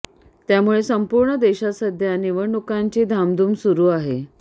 त्यामुळे संपूर्ण देशात सध्या निवडणुकांची धामधूम सुरु आहे